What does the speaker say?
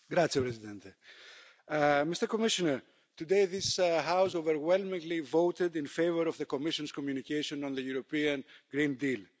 Mr President, Mr Commissioner, today this House overwhelmingly voted in favour of the Commission's communication on the European Green Deal.